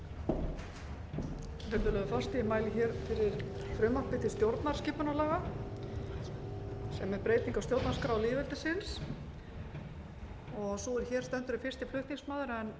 virðulegi forseti ég mæli fyrir frumvarpi til stjórnarskipunarlaga um breytingu á stjórnarskrá lýðveldisins sú er hér stendur er fyrsti flutningsmaður en